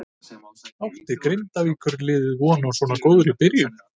Átti Grindavíkur liðið von á svo góðri byrjun?